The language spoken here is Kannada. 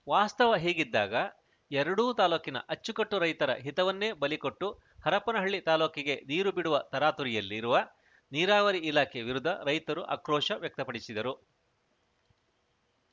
ವಾಸ್ತವ ಹೀಗಿದ್ದಾಗ ಎರಡೂ ತಾಲೂಕಿನ ಅಚ್ಚುಕಟ್ಟು ರೈತರ ಹಿತವನ್ನೇ ಬಲಿಕೊಟ್ಟು ಹರಪನಹಳ್ಳಿ ತಾಲೂಕಿಗೆ ನೀರು ಬಿಡುವ ತರಾತುರಿಯಲ್ಲಿ ರುವ ನೀರಾವರಿ ಇಲಾಖೆ ವಿರುದ್ಧ ರೈತರು ಆಕ್ರೋಶ ವ್ಯಕ್ತಪಡಿಸಿದರು